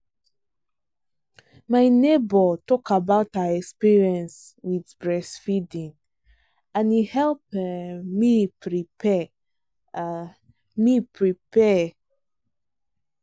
my neighbor talk about her experience with breast feeding and e help um me prepare. um me prepare. um